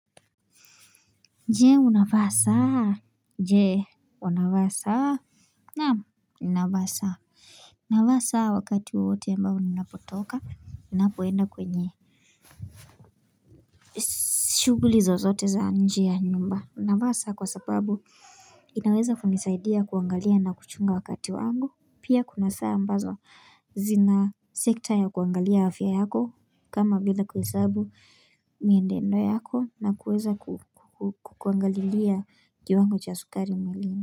Je unavaa saa? Jee wanavaa saa? Naam, ninavaa saa. Ninavaa saa wakati wowote ambao ninapotoka ninapoenda kwenye shughuli zozote za nje ya nyumba. Navaa saa kwa sababu inaweza kunisaidia kuangalia na kuchunga wakati wangu pia kuna saa ambazo zina sekta ya kuangalia afya yako kama vile kuhesabu mienendo yako na kuweza kukuangalilia kiwango cha sukari mwilini.